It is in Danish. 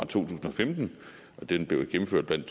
tusind og femten og den blev gennemført blandt